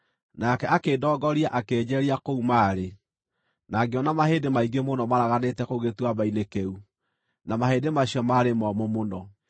Nake akĩndongoria akĩnjeeria kũu maarĩ, na ngĩona mahĩndĩ maingĩ mũno maaraganĩte kũu gĩtuamba-inĩ kĩu, na mahĩndĩ macio maarĩ momũ mũno.